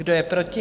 Kdo je proti?